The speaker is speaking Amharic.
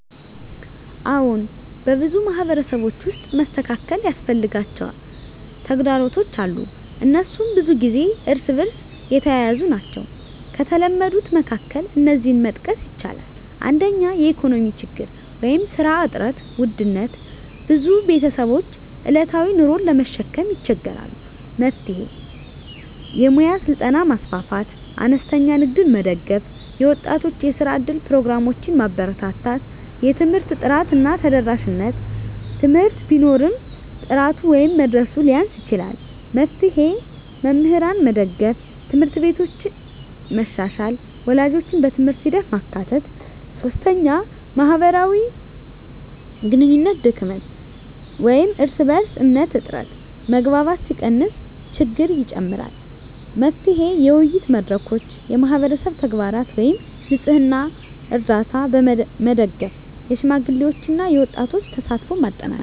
አዎን፣ በብዙ ማህበረሰቦች ውስጥ መስተካከል ያስፈልጋቸው ተግዳሮቶች አሉ፤ እነሱም ብዙ ጊዜ እርስ በእርስ የተያያዙ ናቸው። ከተለመዱት መካከል እነዚህን መጥቀስ ይቻላል፦ 1) የኢኮኖሚ ችግኝ (ስራ እጥረት፣ ውድነት): ብዙ ቤተሰቦች ዕለታዊ ኑሮን ለመሸከም ይቸገራሉ። መፍትሄ: የሙያ ስልጠና ማስፋፋት፣ አነስተኛ ንግድን መደገፍ፣ የወጣቶች የስራ እድል ፕሮግራሞችን ማበርታት። 2) የትምህርት ጥራት እና ተደራሽነት: ትምህርት ቢኖርም ጥራቱ ወይም መድረሱ ሊያንስ ይችላል። መፍትሄ: መምህራንን መደገፍ፣ ት/ቤቶችን መሻሻል፣ ወላጆችን በትምህርት ሂደት ማካተት። 3) የማህበራዊ ግንኙነት ድክመት (እርስ በእርስ እምነት እጥረት): መግባባት ሲቀንስ ችግኝ ይጨምራል። መፍትሄ: የውይይት መድረኮች፣ የማህበረሰብ ተግባራት (ንፅህና፣ ርዳታ) መደገፍ፣ የሽማግሌዎችና የወጣቶች ተሳትፎን ማጠናከር።